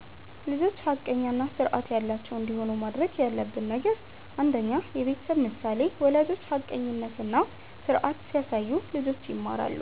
1) ልጆች ሐቀኛ እና ስርዓት ያላቸው እንዲሆኑ ማድረግ ያለብን ነገር 1. የቤተሰብ ምሳሌ ወላጆች ሐቀኝነት እና ስርዓት ሲያሳዩ ልጆች ይማራሉ